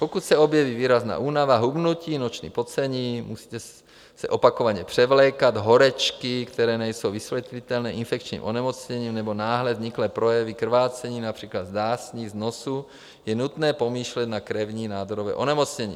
Pokud se objeví výrazná únava, hubnutí, noční pocení, musíte se opakovaně převlékat, horečky, které nejsou vysvětlitelné infekčním onemocněním, nebo náhle vzniklé projevy krvácení, například z dásní, z nosu, je nutné pomýšlet na krevní nádorové onemocnění.